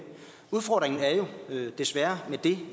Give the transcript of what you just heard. udfordringen er jo desværre at det